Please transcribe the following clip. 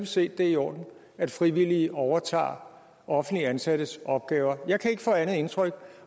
set at det er i orden at frivillige overtager offentligt ansattes opgaver jeg kan ikke få andet indtryk